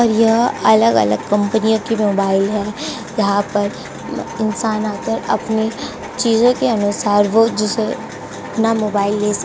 और यह अलग अलग कंपनियों की मोबाइल है। यहाँ पर इंसान आकर अपनी चीजों के अनुसार हो जिसे अपना मोबाइल ले सकता --